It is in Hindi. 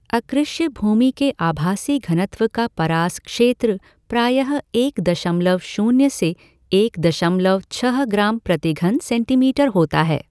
अकृष्य भूमि के आभासी घनत्व का परास क्षेत्र प्रायः एक दशमलव शून्य से एक दशमलव छ ग्राम प्रतिघन सेंटीमीटर होता है।